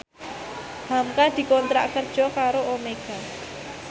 hamka dikontrak kerja karo Omega